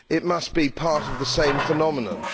It must be part of the same phenomenon.